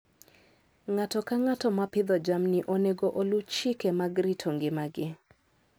Ng'ato ka ng'ato ma pidho jamni onego oluw chike mag rito ngimagi.